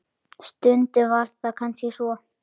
Stundum var það kannski svo.